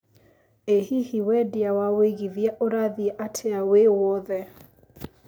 ĩ hihi wendia wa wĩigĩthĩa ũrathĩe atĩa wĩ wothe